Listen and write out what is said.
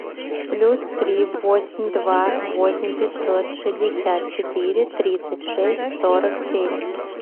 плюс три восемь два восемь пятьсот шестьдесят четыре тридцать шесть сорок семь